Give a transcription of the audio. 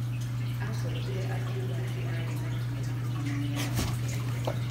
Aacokire akiuga atĩ aarĩ na kĩeha mũno na nĩ aakuĩte ngoro.